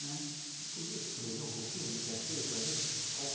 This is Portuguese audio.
Né. Você podia descrever um pouquinho do que é feito ali?